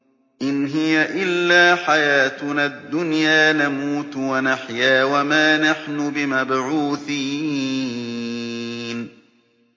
إِنْ هِيَ إِلَّا حَيَاتُنَا الدُّنْيَا نَمُوتُ وَنَحْيَا وَمَا نَحْنُ بِمَبْعُوثِينَ